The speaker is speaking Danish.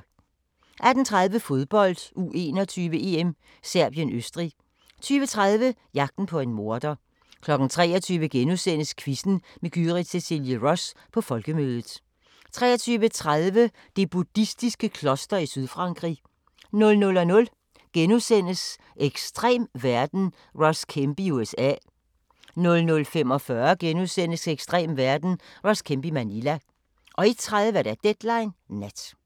18:30: Fodbold: U21-EM - Serbien-Østrig 20:30: Jagten på en morder 23:00: Quizzen med Gyrith Cecilie Ross – på Folkemødet * 23:30: Det buddhistiske kloster i Sydfrankrig 00:00: Ekstrem verden – Ross Kemp i USA * 00:45: Ekstrem verden – Ross Kemp i Manila * 01:30: Deadline Nat